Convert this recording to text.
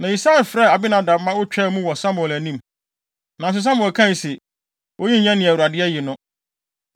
Na Yisai frɛɛ Abinadab ma otwaa mu wɔ Samuel anim. Nanso Samuel kae se, “Oyi nyɛ nea Awurade ayi no.”